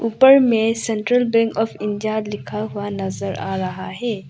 ऊपर में central bank of India लिखा हुआ दिखाई दे रहा है।